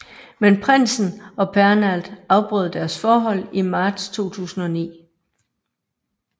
Men prinsen og Pernald afbrød deres forhold i marts 2009